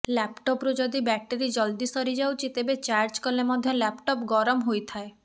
ଲାପଟପରୁ ଯଦି ବ୍ୟାଟେରି ଜଲଦି ସରିଯାଉଛି ତେବେ ଚାର୍ଜ କଲେ ମଧ୍ୟ ଲାପଟପ୍ ଗରମ ହୋଇଥାଏ